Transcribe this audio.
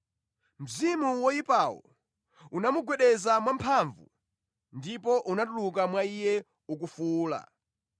Mzimu woyipawo unamugwedeza mwamphamvu ndipo unatuluka mwa iye ukufuwula.